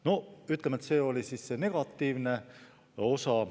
No ütleme, et see oli see negatiivne osa.